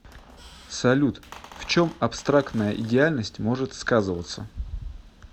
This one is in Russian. салют в чем абстрактная идеальность может сказываться